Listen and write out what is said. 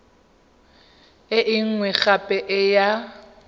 e nngwe gape e ya